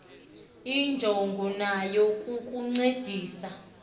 injongo yayo kukukuncedisa